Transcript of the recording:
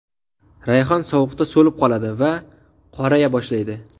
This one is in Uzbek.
Rayhon sovuqda so‘lib qoladi va qoraya boshlaydi.